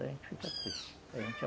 A gente fica triste.